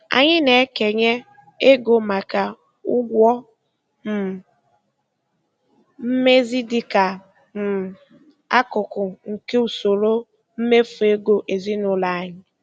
Anyị na-ekenye ego maka ụgwọ um mmezi dịka um akụkụ nke usoro mmefu ego ezinụlọ anyị.